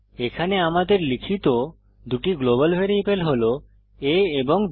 এখানে আমাদের লিখিত দুটি গ্লোবাল ভ্যারিয়েবল হল a এবং বি